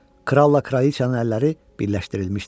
Krolla Kraliçanın əlləri birləşdirilmişdi.